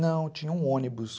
Não, tinha um ônibus.